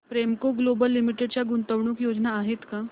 Premco global limited च्या गुंतवणूक योजना आहेत का